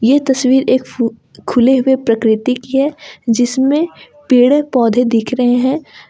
ये तस्वीर एक फ़ु खुले हुए प्रकृति की है जिसमें पेड़े पौधे दिख रहे हैं।